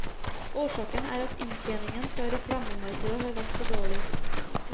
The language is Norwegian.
Årsaken er at inntjeningen fra reklamemarkedet har vært for dårlig.